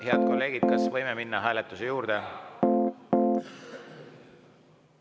Head kolleegid, kas võime minna hääletuse juurde?